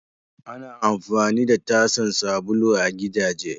Ana amfani da tasan sabulu a gidajen.